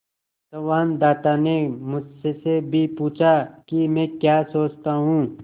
संवाददाता ने मुझसे भी पूछा कि मैं क्या सोचता हूँ